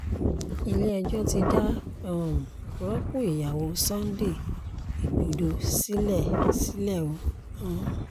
ilé-ẹjọ́ ti dá um rọ́pọ̀ ìyàwó sunday igbodò sílẹ̀ sílẹ̀ o um